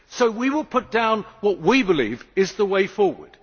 We will put down what we believe is the way forward.